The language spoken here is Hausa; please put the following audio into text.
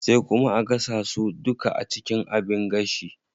Sai kuma a gasa su duka a cikin abin gashi.